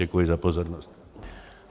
Děkuji za pozornost.